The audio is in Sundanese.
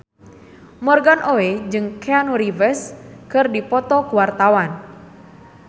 Morgan Oey jeung Keanu Reeves keur dipoto ku wartawan